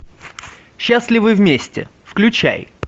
счастливы вместе включай